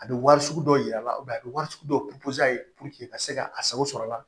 A bɛ wari sugu dɔw yira a la a bɛ wari sugu dɔw ka se ka a sago sɔrɔ a la